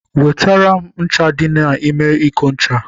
Wetara m ncha dị n'ime iko ncha